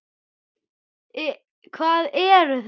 Hvað eru þeir?